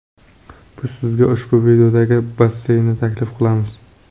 Biz sizga ushbu videodagi basseynni taklif qilamiz!